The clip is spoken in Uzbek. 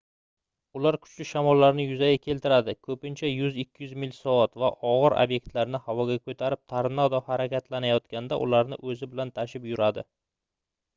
ular kuchli shamollarni yuzaga keltiradi ko'pincha 100–200 mil/soat va og'ir obyektlarni havoga ko'tarib tornado harakatlanayotganda ularni o'zi bilan tashib yuradi